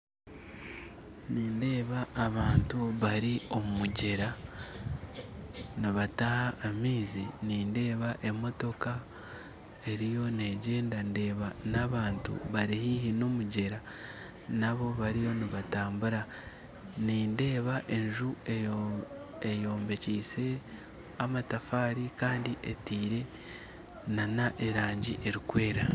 Nindeeba abantu bari omu mugyera nibataaha amaizi nindeeba emotooka eriyo negyenda ndeeba n'abantu bari haihi n'omugyera nabo bariyo nibatambura nindeeba enju eyombekise amatafaari kandi etaire n'erangi erikwera